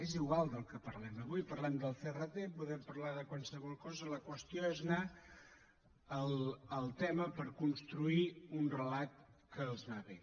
és igual del que parlem avui parlem del crt podem parlar de qualsevol cosa la qüestió és anar al tema per construir un relat que els va bé